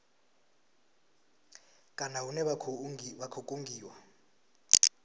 kana hune vha khou kungiwa